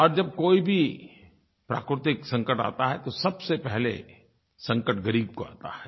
और जब कोई भी प्राकृतिक संकट आता है तो सबसे पहले संकट ग़रीब को आता है